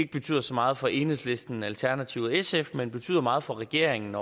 betyder så meget for enhedslisten alternativet og sf men det betyder meget for regeringen